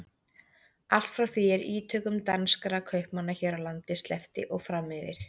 Allt frá því er ítökum danskra kaupmanna hér á landi sleppti og fram yfir